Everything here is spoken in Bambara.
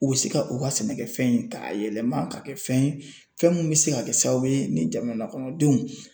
U bɛ se ka u ka sɛnɛkɛfɛn in ta k'a yɛlɛma ka kɛ fɛn ye fɛn min bɛ se ka kɛ sababu ye ni jamanakɔnɔdenw